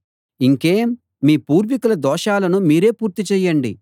ఇంకేం మీ పూర్వికుల దోషాలను మీరే పూర్తి చేయండి